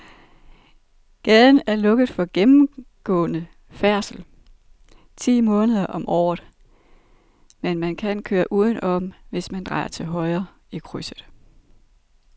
Gaden er lukket for gennemgående færdsel ti måneder om året, men man kan køre udenom, hvis man drejer til højre i krydset.